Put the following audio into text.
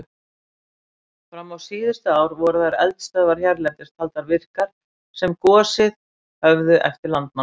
Fram á síðustu ár voru þær eldstöðvar hérlendis taldar virkar sem gosið höfðu eftir landnám.